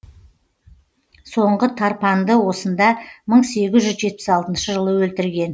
соңғы тарпанды осында мың сегіз жүз жетпіс алтыншы жылы өлтірген